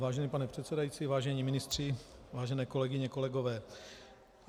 Vážený pane předsedající, vážení ministři, vážené kolegyně, kolegové.